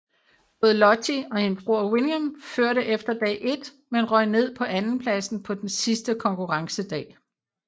Både Lottie og hendes bror William førte efter dag 1 men røg ned på andenpladsen på den sidste konkurrencedag